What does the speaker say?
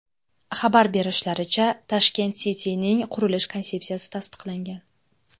Xabar berishlaricha, Tashkent City’ning qurilish konsepsiyasi tasdiqlangan.